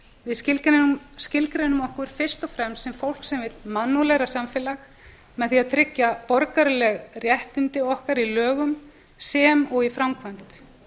við skilgreinum okkur fyrst og fremst sem fólk sem vill mannúðlegra samfélag með því að tryggja borgaraleg réttindi okkar í lögum sem og í framkvæmd